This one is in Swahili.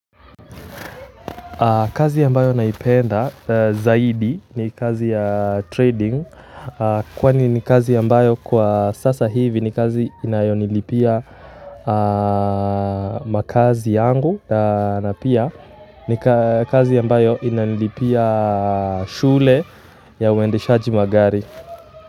Kazi ambayo naipenda zaidi ni kazi ya trading kwani ni kazi ambayo kwa sasa hivi ni kazi inayonilipia makazi yangu na pia ni kazi ambayo inalipia shule ya uendeshaji magari.